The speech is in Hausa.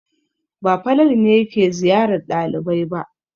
Ba Falalu ne yake ziyarar ɗalibai ba.